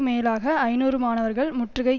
மேலாக ஐநூறு மாணவர்கள் முற்றுகை